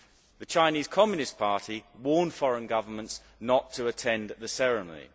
The Chinese Communist Party warns foreign governments not to attend the ceremony.